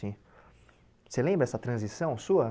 Você lembra essa transição sua?